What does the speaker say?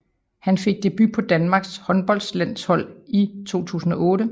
Han fik debut på Danmarks håndboldlandshold i 2008